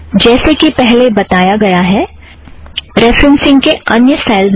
जैसे कि पहले बताया गया है रेफ़रन्ससिंग के अन्य स्टाइलस भी हैं